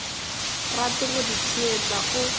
rate go di theetša o